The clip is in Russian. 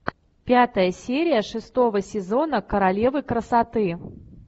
пятая серия шестого сезона королева красоты